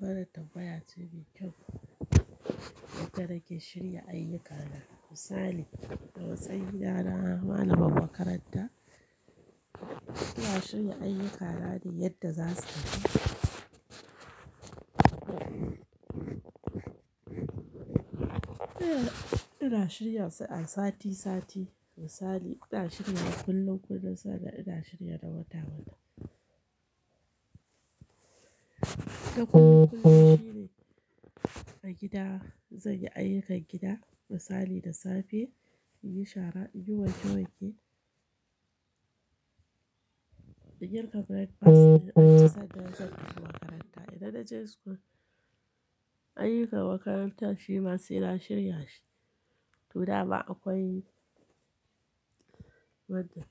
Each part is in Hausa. Wana tambaya ce mai kyau, yadda nake shirya ayyuka na. Misali, a matsayina na malamar makaranta suna shirya ayyuka na ne, yadda za su tafi. Ina shirya su a sati sati. Misali, ina shirya kullum kullum, sannan ina shirya na wata wata. Takun kuɗi shine a gida zan yi ayyukan gida. Misali, da safe in yi shara, in yi wanke wanke, in girka breakfast, in sannan zan tafi makaranta. Idan na je school, ayyukan makarantar shi ma sai na shirya shi. To, dama akwai wadda.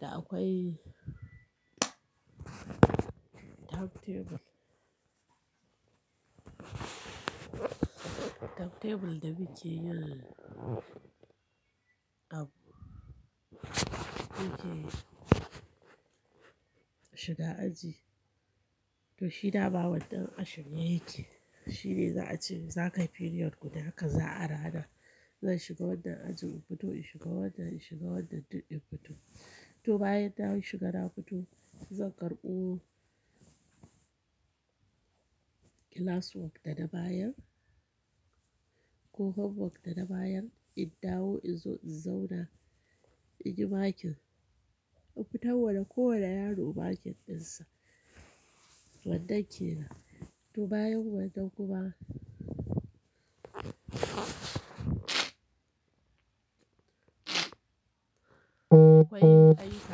Da akwai time table. Time table da muke yin abu. Muke shiga aji. To, shi da ma wannan ashirye yake. Shi ne za a ce za ka yi period guda kaza a rana. Zan shiga wannan ajin, in fito in shiga wannan, in shiga wannan, duk in fito. To, bayan na mun shiga na fito, zan karɓo class work dana bayan. Ko homework dana bayan, in dawo in zo in zauna, in yi makin. Mu fitarwa da kowane yaro makin ɗinsa wannan ke nan. To, bayan wannan kuma akwai ayyuka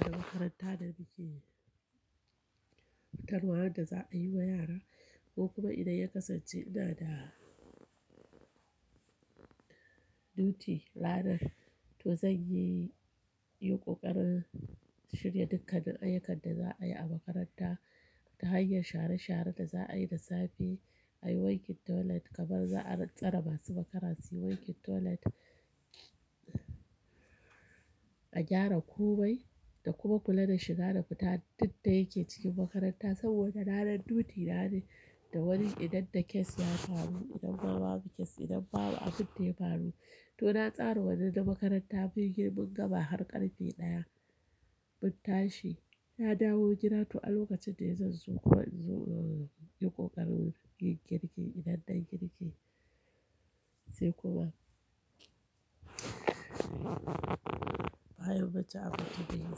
da makaranta da muke fitarwa wadda za a yi wa yara. Ko kuma idan ya kasance ina da duty ranar, to zan yi yin ƙoƙarin shirya dukkanin ayyukan da za a yi a makaranta ta hanyar share share da za a yi da safe. A yi wankin toilet kamar za a ratsara masu makara. Suyi wankin toilet a gyara komai da kuma kula da shiga da fita duk da yake cikin makaranta. Saboda ranar duty na ne da wani idan da case ya faru, idan ma babu case, idan babu abin da ya faru. To, na tsara wannan na makaranta mun yi girman gama har ƙarfe ɗaya. Mun tashi, ya dawo gida. To, a lokacin dai zan zo kuma in zo yin ƙoƙarin yin girki idan nayi girki sai kuma bayan bacci a fita yin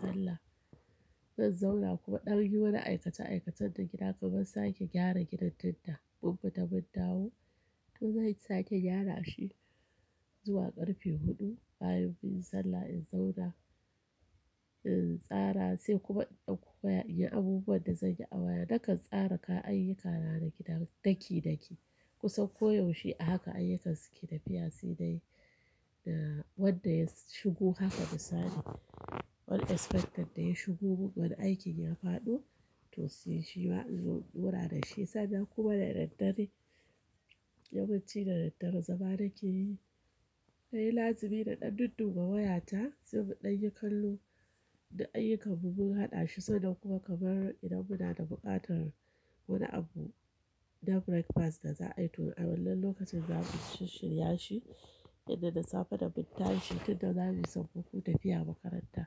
sallah. Zan zauna kuma ɗan yi wani aikace aikacen da gida kamar sake gyara gidan daddare. Mun fita mun dawo, to zan sake gyara shi zuwa ƙarfe huɗu bayan mun yi sallah. In zauna in tsara sai kuma in koya in yi abubuwan da zan yi a waya. Nakan tsara ka ayyuka na na gida daki daki. Kusan koyaushe a haka ayyukansu ke tafiya sai dai wanda ya shigo. Haka misali, wani inspector da ya shigo wani aikin ya faɗo, to sai shi ma inzo in daura da shi. Sannan kuma da daddare, yawanci da daddare zama nake yi. Sai lasibi na ɗan dudduba wayata sai mu ɗan yi kallo da ayyukan mu mun haɗa shi. Sannan kuma kamar idan muna da buƙatar wani abu na breakfast da za a yi, to a wannan lokacin za mu shirya shi. Idan na safe da mun tashi, tunda na ji sammaku tafiya makaranta,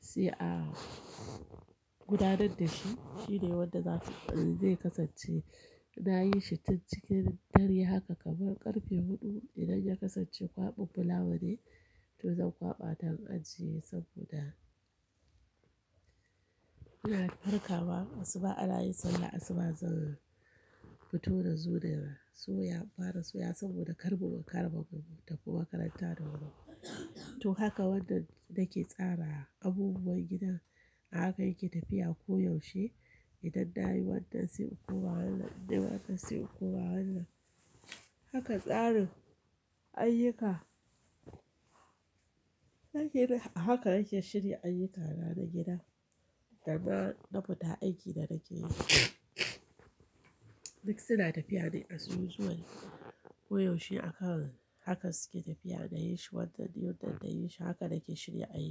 sai a gudanar da shi. Shi ne wanda zai kasance na yi shi tun cikin dare. Haka kamar ƙarfe huɗu idan ya kasance kwaɓin fulawa ne, to zan kwaɓa don ajiye saboda yana farka ma. Asuba ana yin sallah, asuba zan fito na zo da suya fara suya saboda kar mu ɓace makaranta da wuri. To, haka wannan nake tsara abubuwan gidan. A haka yake tafiya koyaushe. Idan na yi wannan sai kuma wannan, innai wannan sai kuma wannan. Haka tsarin ayyuka. Haka nake shirya ayyuka na na gida da na fita aiki da nake yi. Duk suna tafiya ne a su zuwa koyaushe. Akan haka suke tafiya. Na yi shi wannan yau, nan da yi shi. Haka nake shirya ayyuka.